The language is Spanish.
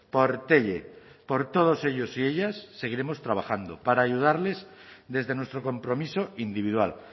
por telle por todos ellos y ellas seguiremos trabajando para ayudarles desde nuestro compromiso individual